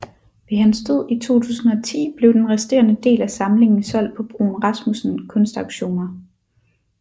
Ved hans død i 2010 blev den resterende del af samlingen solgt på Bruun Rasmussen Kunstauktioner